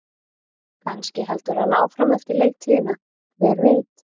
Kannski heldur hann áfram eftir leiktíðina, hver veit?